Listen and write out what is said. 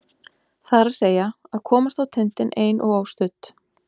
Það er að segja: að komast á tindinn ein og óstudd.